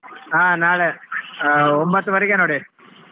ಹಾ ನಾಳೆ ಆ ಒಂಬತ್ತುವರೆಗೆ ನೋಡಿ.